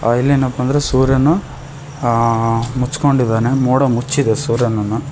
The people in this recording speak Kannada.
ಇಲ್ಲೇನಪ್ಪ ಅಂದ್ರೇ ಸೂರ್ಯನು ಆ ಮುಚ್ಕೊಂಡಿದಾನೆ ಮೋಡ ಮುಚ್ಚಿದೆ ಸೂರ್ಯನನ್ನು--